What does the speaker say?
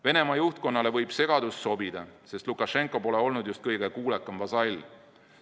Venemaa juhtkonnale võib segadus sobida, sest Lukašenka pole olnud just kõige kuulekam vasall.